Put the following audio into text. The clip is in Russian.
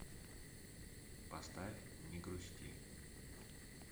поставь не грусти